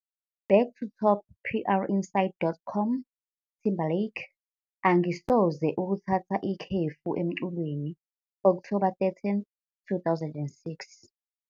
Back to top - PR-Inside.com, Timberlake- "Angisoze ukuthatha ikhefu emculweni", October 13, 2006.